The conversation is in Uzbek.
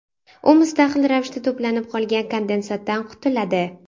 U mustaqil ravishda to‘planib qolgan kondensatdan qutuladi.